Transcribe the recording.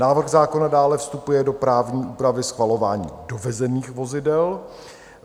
Návrh zákona dále vstupuje do právní úpravy schvalování dovezených vozidel.